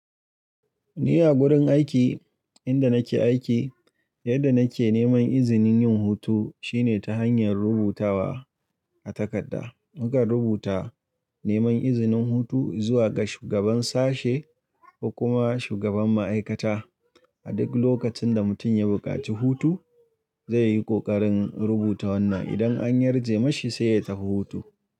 Ni a gurin aiki inda nake aiki, yadda nake neman izinin yin hutu shine ta hanyar rubutawa a takarda. Muka rubuta neman izinin hutu zuwa ga shugaban sashe ko kuma shugaban ma'aikata. A duk lokacin da mutum ya buƙaci hutu, zai yi ƙoƙarin rubuta wannan. Idan an yarje mashi sai ya tafi hutu.